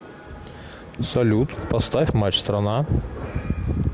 салют поставь матч страна